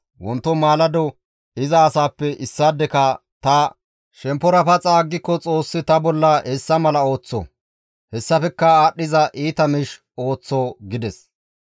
Wonto maalado iza asaappe issaadeka ta shemppora paxa aggiko Xoossi ta bolla hessa mala ooththo; hessafekka aadhdhiza iita miish ooththo» gides.